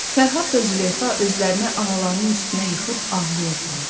Fərhad və Züleyxa özlərini analarının üstünə yıxıb ağlayırdılar.